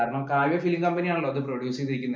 കാരണം Kavya film company ആണല്ലോ അത് produce ചെയ്തിരിക്കുന്നേ.